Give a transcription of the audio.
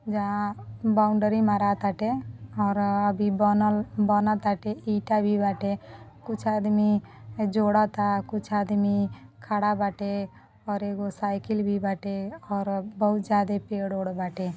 जहां बाउंड्री मरा ताते और अभी बनल बन ताते ईटा भी बाटे कुछ आदमी जोड़ ता कुछ आदमी खड़ा बेटा और एगो साइडिल भी बाटे और बहुत ज्यादे पेड़-वेड बाटे.